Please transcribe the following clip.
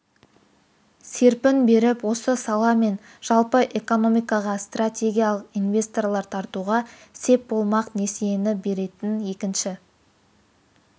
серпін беріп осы сала мен жалпы экономикаға стратегиялық инвесторлар тартуға сеп болмақ несиені беретін екінші